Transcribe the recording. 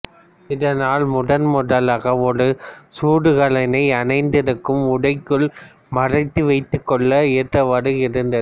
இதனால் முதன்முதலாக ஒரு சுடுகலனை அணிந்திருக்கும் உடைக்குள் மறைத்து வைத்துக்கொள்ள ஏற்றவாறு இருந்தது